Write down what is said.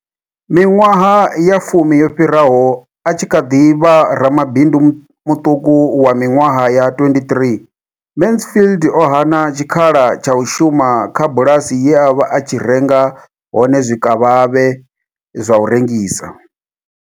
Miṅwaha ya fumi yo fhiraho, a tshi kha ḓi vha ramabindu muṱuku wa miṅwaha ya 23, Mansfield o hana tshikhala tsha u shuma kha bulasi ye a vha a tshi renga hone zwikavhavhe zwa u rengisa.